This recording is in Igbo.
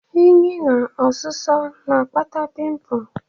Unyi na ọsụsọ na-akpata pimpụ.